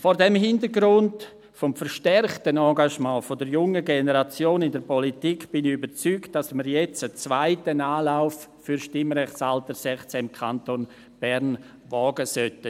Vor diesem Hintergrund des verstärkten Engagements der jungen Generation in der Politik bin ich überzeugt, dass wir jetzt einen zweiten Anlauf für das Stimmrechtsalter 16 im Kanton Bern wagen sollten.